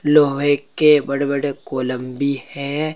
लोहे के बड़े बड़े कोलंबि है।